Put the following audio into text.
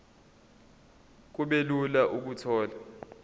kube lula ukuthola